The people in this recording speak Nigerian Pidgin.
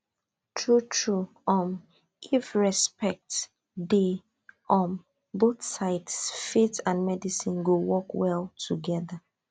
truetrue um if respect dey um both sides faith and medicine go work well together